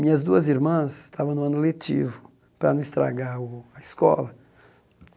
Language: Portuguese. Minhas duas irmãs estavam no ano letivo para não estragar o a escola.